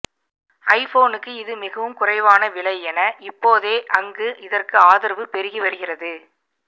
ஐபோனுக்கு இது மிகவும் குறைவான விலை என இப்போதே அங்கு இதற்கு ஆதரவு பெருகிவருகிறது